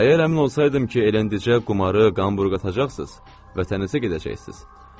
Əgər əmin olsaydım ki, elə indincə qumarı qanbur qatacaqsınız, vətənizə gedəcəksiniz.